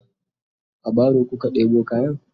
a baro kuka ɗebo kayan?